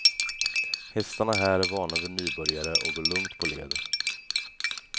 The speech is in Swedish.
Hästarna här är vana vid nybörjare och går lugnt på led.